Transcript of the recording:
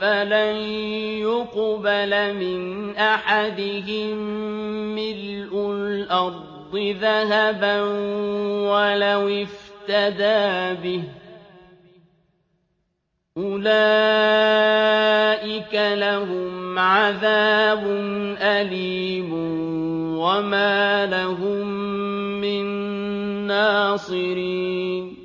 فَلَن يُقْبَلَ مِنْ أَحَدِهِم مِّلْءُ الْأَرْضِ ذَهَبًا وَلَوِ افْتَدَىٰ بِهِ ۗ أُولَٰئِكَ لَهُمْ عَذَابٌ أَلِيمٌ وَمَا لَهُم مِّن نَّاصِرِينَ